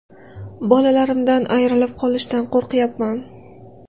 Bolalarimdan ayrilib qolishdan qo‘ryapman.